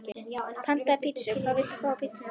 Pantaði pizzu Hvað vilt þú fá á pizzuna þína?